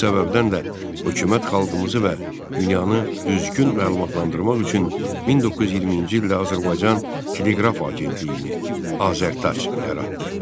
Bu səbəbdən də hökumət xalqımızı və dünyanı düzgün məlumatlandırmaq üçün 1920-ci ildə Azərbaycan teleqraf agentliyini AzərTAc yaratdı.